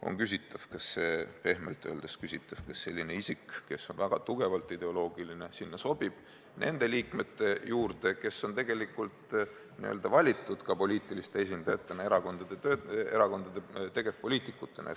On pehmelt öeldes küsitav, kas selline isik, kes on väga tugevalt ideoloogiline, sinna sobib, nende liikmete juurde, kes tegelikult ongi valitud poliitiliste esindajatena, erakondade tegevpoliitikutena.